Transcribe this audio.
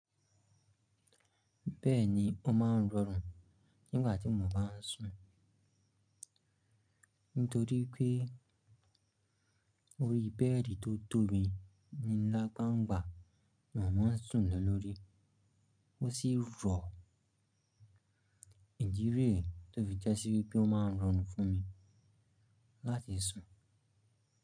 Bẹ́ẹ̀ni, ó ma ń rọrùn nígbà tí mo bá ń sùn. Nítorí pé orí bẹ́ẹ̀dì tó tóbi ni nlá gba ń gbà, mo ma ń sùn le lórí. Ó sì rọ̀, ìdí rẹ̀ tó fi jẹ́ sí wipé ó ma ń rọrùn fún mi láti sùn.